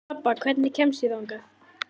Tobba, hvernig kemst ég þangað?